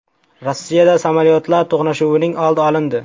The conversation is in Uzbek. Rossiyada samolyotlar to‘qnashuvining oldi olindi.